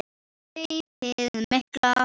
Hlaupið mikla